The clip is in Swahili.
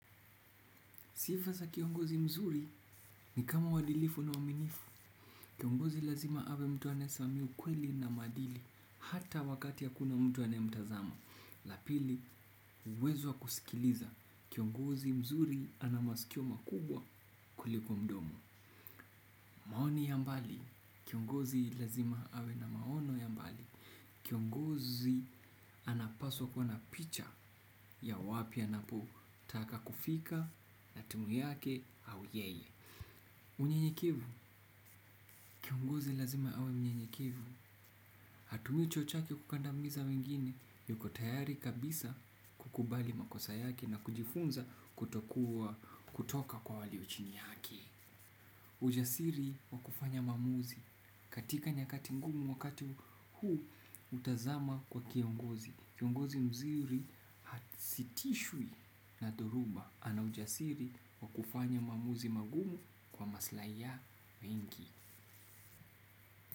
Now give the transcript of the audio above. Sifa za kiongozi mzuri ni kama uwadilifu na uwaminifu. Kiongozi lazima awe mtu anaye simamia ukweli na madili hata wakati akuna mtu anaye mtazama. La pili, uwezo wa kusikiliza. Kiongozi mzuri anamasikio makubwa kuliko mdomo. Maoni ya mbali, kiongozi lazima awe na maono ya mbali. Kiongozi anapaswa kuwa na picha ya wapi anapo taka kufika na timu yake au yeye. Unyenyekevu, kiongozi lazima awe mnyenyekevu. Hatumi cheo chake kukandamiza wengine yuko tayari kabisa kukubali makosa yake na kujifunza kutoka kwa waliochini yake. Ujasiri wakufanya maamuzi katika nyakati ngumu wakati huu hutazama kwa kiongozi. Kiongozi mzuri asitishwe na dhoruba ana ujasiri wakufanya maamuzi magumu kwa maslai ya wengi.